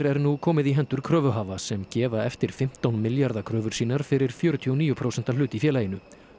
er nú komið í hendur kröfuhafa sem gefa eftir fimmtán milljarða kröfur sínar fyrir fjörutíu og níu prósenta hlut í félaginu